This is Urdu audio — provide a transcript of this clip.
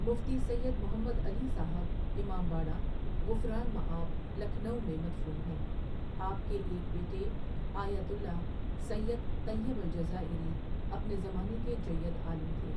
مفتی سید محمد علی صاحب امامباڑہ غفران مآب، لکھنؤ میں مدفون ہیں آپ کے ایک بیٹے ایۃ اللہ سید طیب الجزائری اپنے زمانے کے جید عالم تھے.